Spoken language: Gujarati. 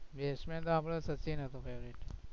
batsman તો આપણો સચિન હતો favourite